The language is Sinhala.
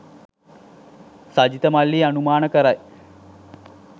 සජිත මල්ලී අනුමාන කරයි.